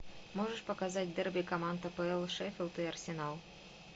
можешь показать дерби команд апл шеффилд и арсенал